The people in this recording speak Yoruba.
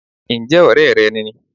N jẹ́ òré re ni